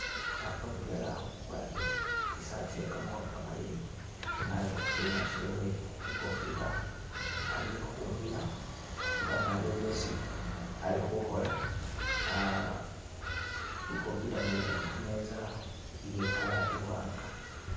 Papa mudwela agwarile i'saat ye kamakhono kamaleyi nga ali khu syuma shewe i'computer ali khumina fana aliwo byesi ali khukhola ah i'computer mwene ili khu meeza iye color iwaanga.